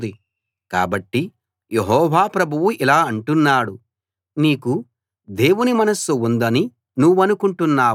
కాబట్టి యెహోవా ప్రభువు ఇలా అంటున్నాడు నీకు దేవుని మనస్సు ఉందని నువ్వనుకుంటున్నావు